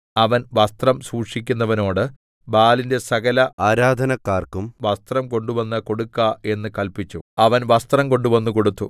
അവൻ വസ്ത്രം സൂക്ഷിക്കുന്നവനോട് ബാലിന്റെ സകല ആരാധനക്കാർക്കും വസ്ത്രം കൊണ്ടുവന്ന് കൊടുക്ക എന്ന് കല്പിച്ചു അവൻ വസ്ത്രം കൊണ്ടുവന്ന് കൊടുത്തു